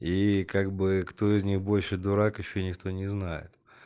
и как бы кто из них больше дурак ещё никто не знает